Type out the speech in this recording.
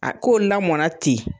A ko lamɔnna ten